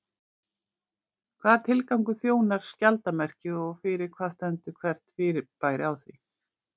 Hvaða tilgangi þjónar skjaldarmerkið og fyrir hvað stendur hvert fyrirbæri á því?